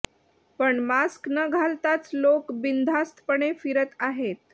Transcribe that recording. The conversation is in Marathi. पण मास्क न घालताच लोक बिनधास्तपणे फिरत आहेत